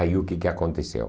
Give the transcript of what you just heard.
Aí o que que aconteceu?